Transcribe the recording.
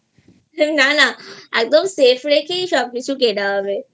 না না একদম Safe রেখেই সবকিছু কেনা হবে